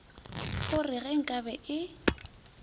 o re ge nkabe e